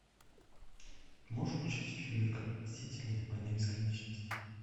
можешь включить фильмик мстители война бесконечности